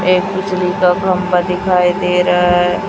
ए बिजली का खंभा दिखाई दे रहा है।